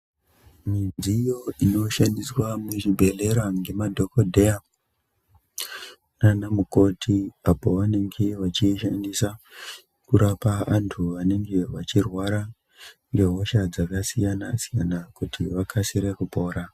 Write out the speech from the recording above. Midziyo inoshandiswa muzvibhedhlera ngemadhogodheya nanamukoti. Apovanenge vechiishandisa kurapa antu anenge vachirwara ngehosha dzakasiyana-siyana, kuti vakasire kupora.